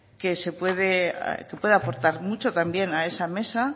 que puede aportar mucho también a esa mesa